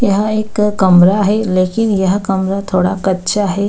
यहां एक कमरा है लेकिन यह कमरा थोड़ा कच्चा है।